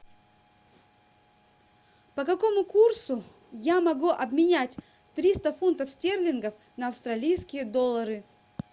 по какому курсу я могу обменять триста фунтов стерлингов на австралийские доллары